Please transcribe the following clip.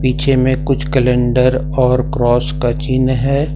पीछे में कुछ कैलेंडर और क्रॉस का चिन्ह है।